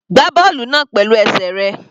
Gbá bọ́ọ̀lù náà pẹ̀lú.